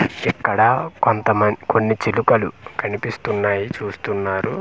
ఇక్కడ కొంతమం కొన్ని చిలుకలు కనిపిస్తున్నాయి చూస్తున్నారు.